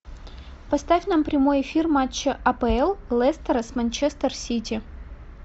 поставь нам прямой эфир матча апл лестера с манчестер сити